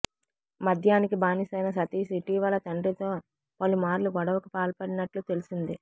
మద్యానికి బానిసైన సతీష్ ఇటీవల తండ్రితో పలుమార్లు గొడవకు పాల్పడినట్లు తెలిసింది